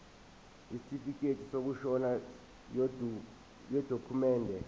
isitifikedi sokushona yidokhumende